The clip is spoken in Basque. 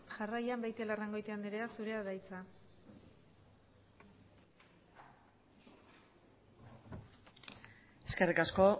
jarraian beitialarrangoitia andrea zurea da hitza eskerrik asko